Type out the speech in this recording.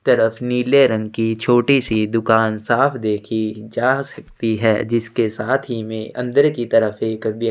तरफ नीले रंग की छोटी सी दुकान साफ देखी जा सकती है जिसके साथ ही में अंदर की तरफ एक व्यक्ति--